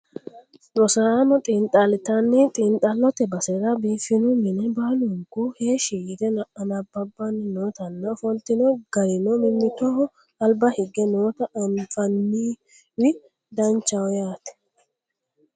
Rosaano xiinxallitanni xiinxallote basera biifino mine baalunku heeshshi yite anabbabanni nootanna ofoltino garino mimmitoho alba higge noota anfanniwi danchaho yaate